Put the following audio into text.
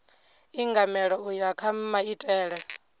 ingamela u ya kha maitele